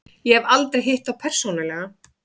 Ég hef aldrei hitt þá persónulega.